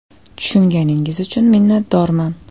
“Tushunganingiz uchun minnatdorman.